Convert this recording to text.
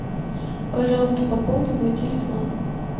пожалуйста пополни мой телефон